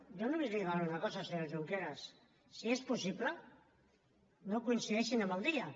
jo només li demano una cosa senyor junqueras si és possible no coincideixin amb el dia